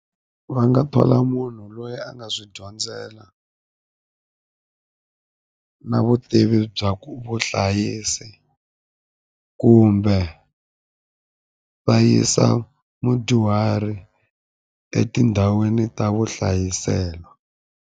Va nga thola munhu loyi a nga swi dyondzela na vutivi bya ku vuhlayisi kumbe va yisa mudyuhari etindhawini ta vuhlayiselo.